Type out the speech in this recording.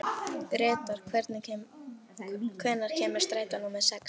Gretar, hvenær kemur strætó númer sex?